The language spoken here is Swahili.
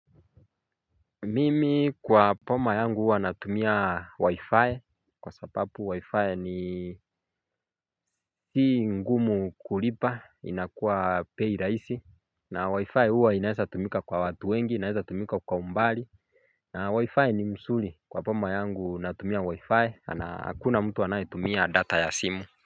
Mimi kwa boma yangu huwa natumia wi-fi, kwa sababu wi-fi ni si ngumu kulipa, inakua bei rahisi na wi-fi huwa inawezatumika kwa watu wengi, inawezatumika kwa umbali na wi-fi ni mzuri, kwa boma yangu natumia wi-fi, na hakuna mtu anayetumia data ya simu.